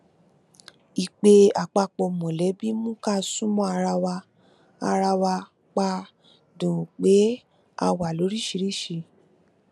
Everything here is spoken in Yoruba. ìpè àpapọ mọlẹbí mú ká sún mọ ara ara wa pa dùn un pé a wà lóríṣìíríṣìí